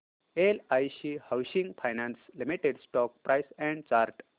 LIC housing finance limited stock price and chart